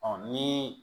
ni